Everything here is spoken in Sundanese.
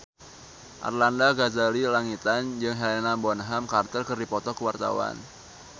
Arlanda Ghazali Langitan jeung Helena Bonham Carter keur dipoto ku wartawan